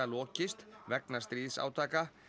lokist vegna stríðsátaka